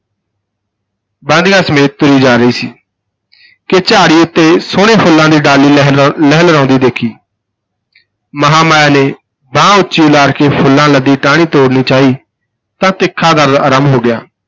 ਬਾਂਦੀਆਂ ਸਮੇਤ ਤੁਰੀ ਜਾ ਰਹੀ ਸੀ ਕਿ ਝਾੜੀ ਉਤੇ ਸੁਹਣੇ ਫੁੱਲਾਂ ਦੀ ਡਾਲੀ ਲਹਿਲਾ ਲਹਿਰਾਉਂਦੀ ਦੇਖੀ ਮਹਾਂਮਾਇਆ ਨੇ ਬਾਂਹ ਉਚੀ ਉਲਾਰ ਕੇ ਫੁੱਲਾਂ ਲੱਦੀ ਟਾਹਣੀ ਤੋੜਨੀ ਚਾਹੀ ਤਾਂ ਤਿੱਖਾ ਦਰਦ ਆਰੰਭ ਹੋ ਗਿਆ।